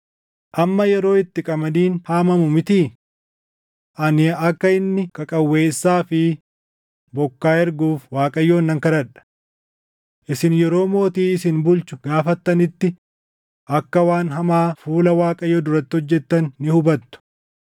Amma yeroo itti qamadiin haamamuu mitii? Ani akka inni qaqawweessaa fi bokkaa erguuf Waaqayyoon nan kadhadha. Isin yeroo mootii isin bulchu gaafattanitti akka waan hamaa fuula Waaqayyoo duratti hojjettan ni hubattu.”